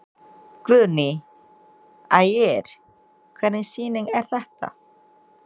Guðný: Ægir, hvernig sýning er þetta?